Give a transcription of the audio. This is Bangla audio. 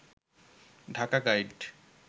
ঢাকা গাইড